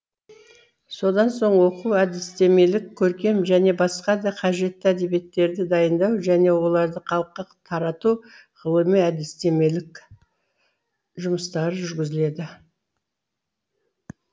содан соң оқу әдістемелік көркем және басқа да қажетті әдебиеттерді дайындау және оларды халыққа тарату ғылыми әдістемелік жұмыстары жүргізіледі